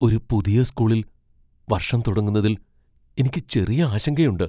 ഒരു പുതിയ സ്കൂളിൽ വർഷം തുടങ്ങുന്നതിൽ എനിക്ക് ചെറിയ ആശങ്കയുണ്ട്.